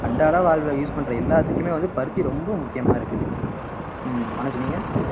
அன்றாட வாழ்வுல use பண்ற எல்லாத்துக்குமே வந்து பருத்தி ரொம்ப முக்கியமா இருக்குது ஆஹ் மனோஜ் நீங்க